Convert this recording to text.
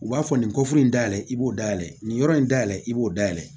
U b'a fɔ nin koforo in dayɛlɛ i b'o dayɛlɛ nin yɔrɔ in dayɛlɛ i b'o dayɛlɛ